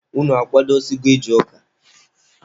Unu akwadosigo ije ụka?